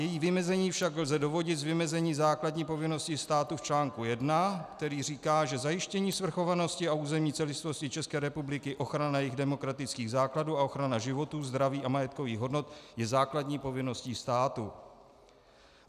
Její vymezení však lze dovodit z vymezení základní povinnosti státu v článku 1, který říká, že zajištění svrchovanosti a územní celistvosti České republiky, ochrana jejích demokratických základů a ochrana životů, zdraví a majetkových hodnot je základní povinnosti státu.